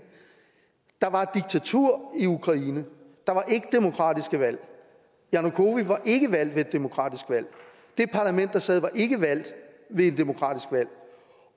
der var et diktatur i ukraine der var ikke demokratiske valg janukovitj var ikke valgt ved et demokratisk valg det parlament der sad var ikke valgt ved et demokratisk valg